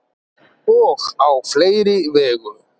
og á fleiri vegu